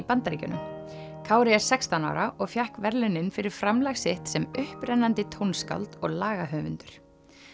Bandaríkjunum Kári er sextán ára og fékk verðlaunin fyrir framlag sitt sem upprennandi tónskáld og lagahöfundur